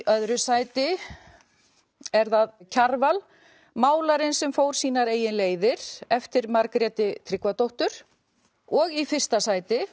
öðru sæti er það Kjarval málarinn sem fór sínar eigin leiðir eftir Margréti Tryggvadóttur og í fyrsta sæti